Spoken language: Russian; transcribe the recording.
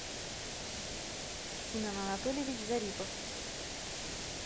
семен анатольевич зарипов